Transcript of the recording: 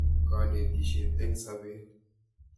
kanetishiet eng' sabet